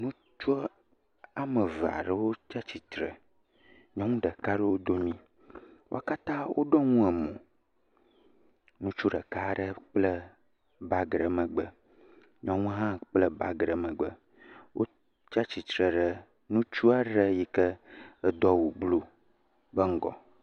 Ŋutsu woame eve ɖewo tsatsitre, nyɔnu ɖeka ɖe wo dome, wo katã woɖɔ nu emo. Ŋutsu ɖeka aɖe kple bagi ɖe megbe, nyɔnu hã kpla bagi ɖe megbe. Wotsatsitre ɖe ŋutsu aɖe yike do awu blu be ŋgɔ.